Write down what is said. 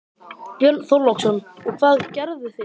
Björn Þorláksson: Og hvað gerðu þið?